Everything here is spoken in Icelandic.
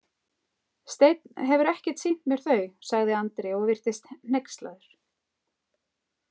Steinn hefur ekkert sýnt mér þau, sagði Andri og virtist hneykslaður.